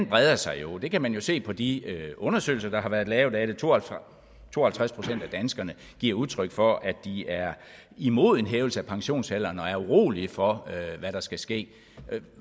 breder sig det kan man jo se på de undersøgelser der har været lavet af det to og to og halvtreds procent af danskerne giver udtryk for at de er imod en hævelse af pensionsalderen og er urolige for hvad der skal ske